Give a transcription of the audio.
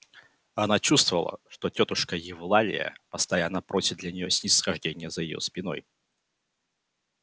она чувствовала что тётушка евлалия постоянно просит для нее снисхождения за её спиной